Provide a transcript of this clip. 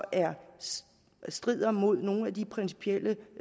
strider mod nogle af de principielle